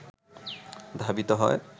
ধাবিত হয়